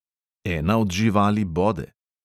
Ena od živali bode.